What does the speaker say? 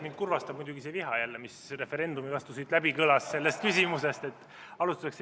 Mind kurvastab muidugi jälle see viha, mis referendumi vastu sellest küsimusest läbi kõlas.